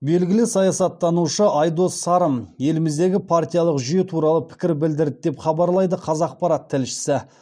белгілі саясаттанушы айдос сарым еліміздегі партиялық жүйе туралы пікір білдірді деп хабарлайды қазақпарат тілшісі